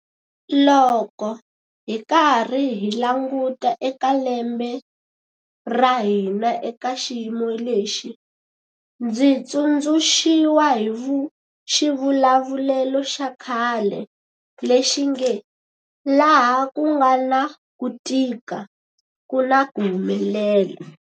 Loko hi karhi hi languta eka lembe ra hina eka xiyimo lexi, ndzi tsundzuxiwa hi xivulavulelo xa khale lexi nge, laha ku nga na ku tika ku na ku humelela.